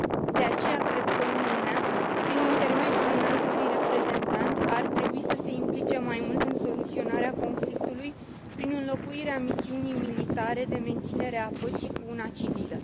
De aceea, cred că Uniunea, prin intermediul Înaltului Reprezentant, ar trebui să se implice mai mult în soluționarea conflictului, prin înlocuirea misiunii militare de menținere a păcii cu una civilă.